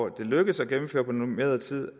lykkes at gennemføre på normeret tid